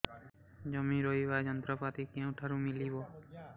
ଜମି ରୋଇବା ଯନ୍ତ୍ରପାତି କେଉଁଠାରୁ ମିଳିବ